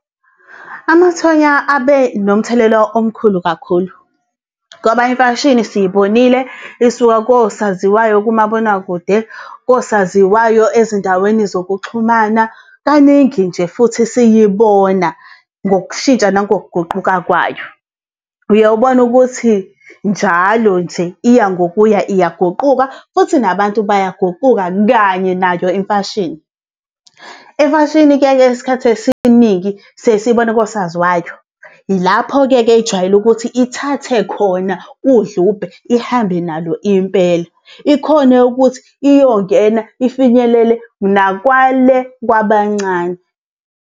Amathonya abe nomthelela omkhulu kakhulu ngoba imfashini siyibonile isuka kosaziwayo kumabonakude, kosaziwayo ezindaweni zokuxhumana kaningi nje futhi siyibona ngokushintsha nangokuguquka kwayo. Uye ubone ukuthi njalo nje iya ngokuya iyaguquka futhi nabantu bayaguquka kanye nayo imfashini. Imfashini-ke isikhathi esiningi siye siyibone kosaziwayo. Ilapho-ke-ke ejwayele ukuthi ithathe khona udlubhe ihambe nalo impela, ikhone ukuthi iyongena ifinyelele nakwale kwabancane.